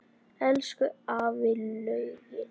Elsku afi Laugi.